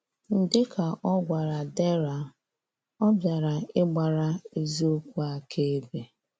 Dịka ọ gwara Dera, ọ bịara ịgbara eziokwu akaebe.